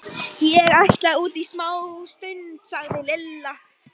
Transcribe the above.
Ég ætla út í smástund, sagði Lilla.